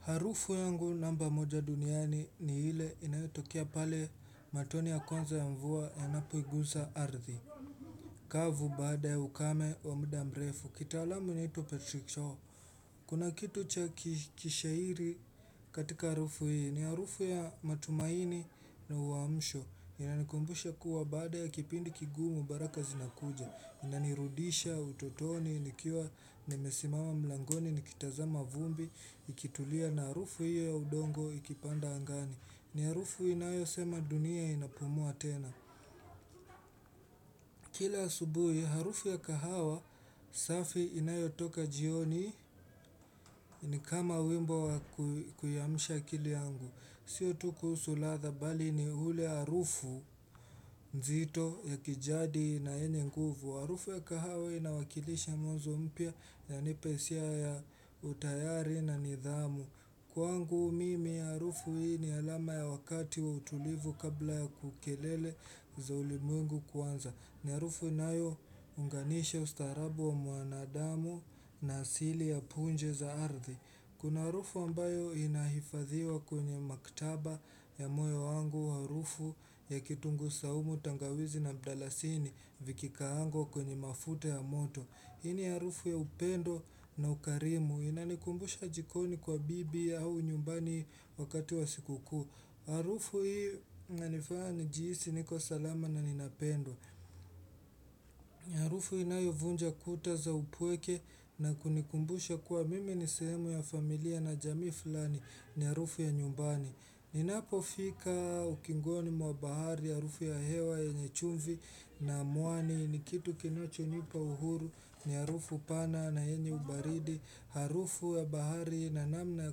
Harufu yangu namba moja duniani ni ile inayotokea pale matoni ya kwanza ya mvua ya napo igusa ardhi. Kavu baada ya ukame wa muda mrefu. Kitaalamu inaitwa Patrick Shaw. Kuna kitu cha kishairi katika harufu hii. Ni harufu ya matumaini na uwamsho. Inanikumbusha kuwa baada ya kipindi kigumu baraka zinakuja Nanirudisha, utotoni, nikiwa, nimesimawa mlangoni, nikitazama vumbi, ikitulia na harufu hiyo ya udongo ikipanda angani ni harufu inayo sema dunia inapumua tena Kila asubuhi, harufu ya kahawa, safi inayotoka jioni, ni kama wimbo wa kuiamsha akili yangu Sio tu kuusu ladha bali ni ule harufu nzito ya kijadi na yenye nguvu Harufu ya kahawe inawakilisha mwanzo mpya yanipa isia ya utayari na nidhamu Kuangu mimi aharufu hii ni alama ya wakati wa utulivu kabla ya kukelele za ulimwengu kuanza ni harufu inayounganisha ustaarabu wa mwanadamu na asili ya punje za ardhi Kuna harufu ambayo inahifadhiwa kwenye maktaba ya moyo wangu harufu ya kitungu saumu tangawizi na mdalasini Vikikaangwa kwenye mafute ya moto hii ni arufu ya upendo na ukarimu Inanikumbusha jikoni kwa bibi au nyumbani wakati wa siku kuu arufu hii nanifaa njiisi niko salama na ninapendwa arufu inayovunja kuta za upweke na kunikumbusha kuwa mimi ni seemu ya familia na jamii fulani ni arufu ya nyumbani Ninapofika ukingoni mwa bahari Harufu ya hewa yenye chumvi na muani ni kitu kinachonipa uhuru ni harufu pana na yenye ubaridi Harufu ya bahari na namna ya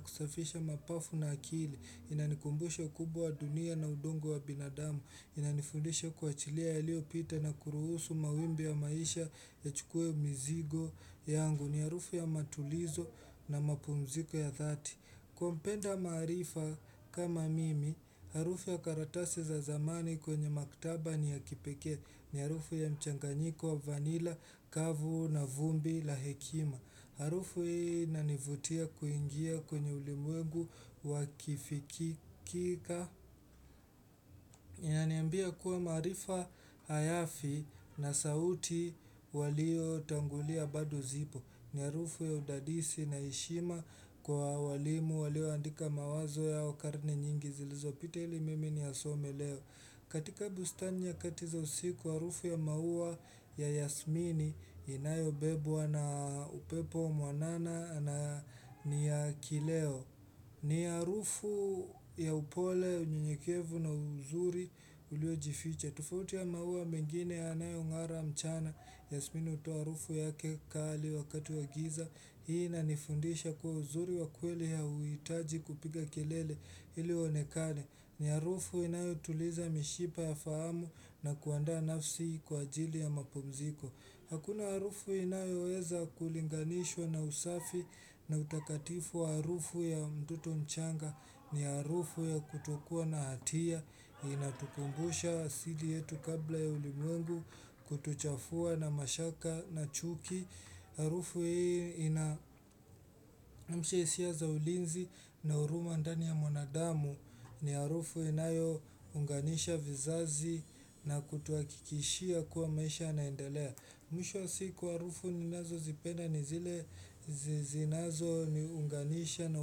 kusafisha mapafu na akili Inanikumbusha ukubwa dunia na udongo wa binadamu Inanifundisha kuachilia yaliopita na kuruhusu mawimbi ya maisha yachukue mizigo yangu ni harufu ya matulizo na mapumziko ya dhati Kwa mpenda maarifa kama mimi, harufu ya karatasi za zamani kwenye maktaba ni ya kipekee ni harufu ya mchanganyiko wa vanila, kavu na vumbi la hekima Harufu hii inanivutia kuingia kwenye ulimwegu wa kifikika inaniambia kwa maarifa ayafi na sauti waliotangulia bado zipo ni arufu ya udadisi na heshima kwa walimu walioandika mawazo yao karne nyingi zilizopita ili mimi niyasome leo katika bustani nyakati za usiku arufu ya maua ya Yasmini inayobebwa na upepo mwanana na ni ya kileo ni arufu ya upole unyenyekevu na uzuri uliojificha tofauti ya maua mengine yanayong'ara mchana Yasmini utoa arufu yake kali wakati wa giza Hii inanifundisha kuwa uzuri wa kweli ya huitaji kupiga kelele ili uonekane ni arufu inayotuliza mishipa ya faamu na kuanda nafsi kwa ajili ya mapumziko Hakuna harufu inayoweza kulinganishwa na usafi na utakatifu arufu ya mtoto mchanga ni arufu ya kutokuwa na hatia inatukumbusha asili yetu kabla ya ulimwengu kutuchafua na mashaka na chuki harufu hii ina amsha hisia za ulinzi na huruma ndani ya mwanadamu ni harufu inayounganisha vizazi na kutuakikishia kuwa maisha yanaendalea mwisho wa siku harufu ninazozipenda ni zile zinazoniunganisha na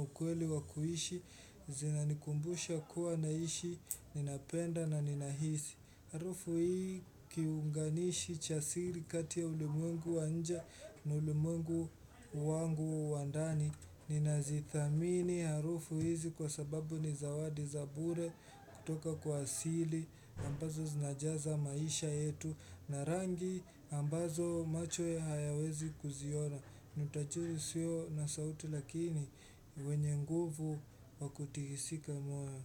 ukweli wa kuishi zinanikumbusha kuwa naishi ninapenda na ninahisi harufu hii kiunganishi cha siri kati ya ulimwengu wa nje ni ulimwengu wangu wa ndani ninazithamini harufu hizi kwa sababu ni zawadi za bure kutoka kwa asili ambazo zinajaza maisha yetu na rangi ambazo macho ya hayawezi kuziona ni utachiri usio na sauti lakini wenye nguvu wa kutihisika moyo.